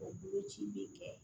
O boloci bɛ kɛ